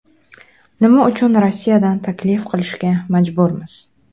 Nima uchun Rossiyadan taklif qilishga majburmiz?